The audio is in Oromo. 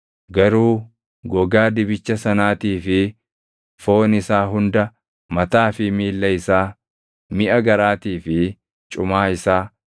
Garuu gogaa dibicha sanaatii fi foon isaa hunda, mataa fi miilla isaa, miʼa garaatii fi cumaa isaa,